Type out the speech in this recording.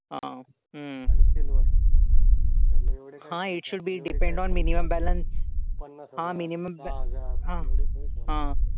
हा हम्म हां it should be depend on minimum balance. हां minimum balance हां. हां.